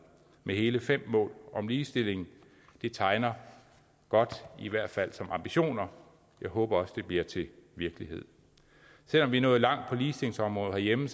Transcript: med hele fem mål om ligestilling det tegner godt i hvert fald som ambitioner jeg håber også at det bliver til virkelighed selv om vi er nået langt på ligestillingsområdet herhjemme